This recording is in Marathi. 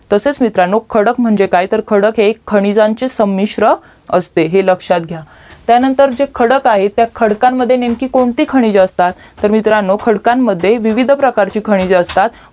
तसेच मित्रांनो खडक म्हणजे काय तर खडक हे खाणीजांचे समिश्र असते हे लक्षयत घ्या त्यांतर जे खडक आहे त्या खडकामध्ये नेमकी कोणती खनिजे असतात तर मित्रांनो खडकमध्ये विविध प्रकारची खनिजे असतात